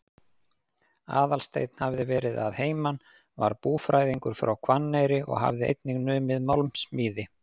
Aðalsteinn hafði verið að heiman, var búfræðingur frá Hvanneyri og hafði einnig numið málmsmíði.